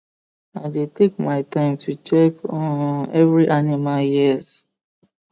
i dey take my time to check um every animal ears